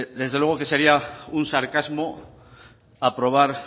desde luego que sería un sarcasmo aprobar